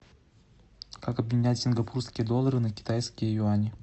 как обменять сингапурские доллары на китайские юани